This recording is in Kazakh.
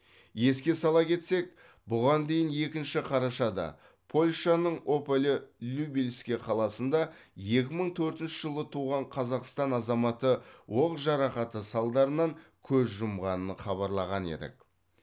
еске сала кетсек бұған дейін екінші қарашада польшаның ополе любельске қаласында екі мың төртінші жылы туған қазақстан азаматы оқ жарақаты салдарынан көз жұмғанын хабарлаған едік